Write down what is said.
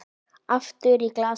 Aftur í glasið.